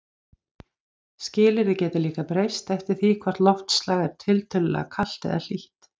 Skilyrði geta líka breyst eftir því hvort loftslag er tiltölulega kalt eða hlýtt.